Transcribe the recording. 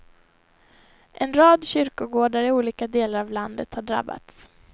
En rad kyrkogårdar i olika delar av landet har drabbats.